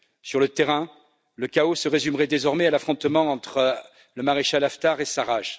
Sur le terrain, le chaos se résumerait désormais à l'affrontement entre le maréchal Haftar et Sarraj.